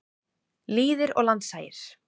Lýðir og landshagir.